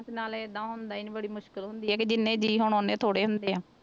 ਤੇ ਨਾਲੇ ਏਦਾਂ ਹੁੰਦਾ ਨੀ ਬੜੀ ਮੁਸ਼ਕਲ ਹੁੰਦੀ ਆ ਕਿ ਜਿੰਨੇ ਜੀਅ ਹੋਣ ਓਨੇ ਥੋੜ੍ਹੇ ਹੁੰਦੇ ਆ।